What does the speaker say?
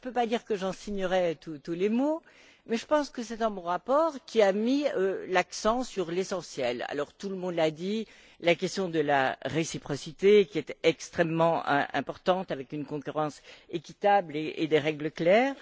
Je ne peux pas dire que j'en signerais tous les mots, mais je pense que c'est un bon rapport qui a mis l'accent sur l'essentiel alors, tout le monde l'a dit, la question de la réciprocité est extrêmement importante, avec une concurrence équitable et des règles claires